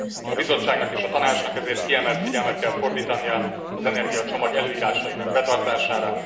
A Bizottságnak és a Tanácsnak ezért kiemelt figyelmet kell fordítania az energiacsomag előírásainak betartására.